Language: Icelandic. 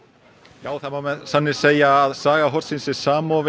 já það má með sanni segja að saga hornsins sé samofin